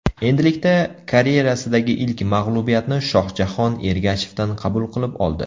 Endilikda karyerasidagi ilk mag‘lubiyatni Shohjahon Ergashevdan qabul qilib oldi.